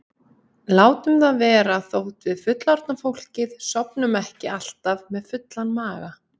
Látum það vera þótt við fullorðna fólkið sofnum ekki alltaf með fullan maga.